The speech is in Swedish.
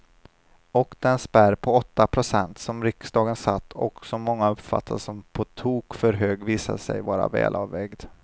Och den spärr på åtta procent som riksdagen satte och som många uppfattade som på tok för hög visade sig vara välavvägd.